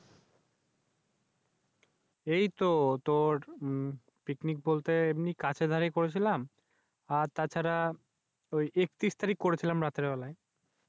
এই তো তুর উম Picnic বলতে এমনি কাছেদারেই করেছিলাম। আর তাছাড়া ঐ একত্রিশ তারিখ করেছিল্ম রাতের বেলায়।